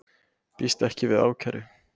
Býst ekki við ákæru